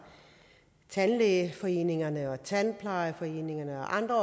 tandlægeforeningerne og tandplejeforeningerne og andre